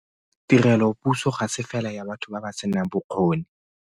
Tirelopuso ga se fela ya batho ba ba senang bokgoni.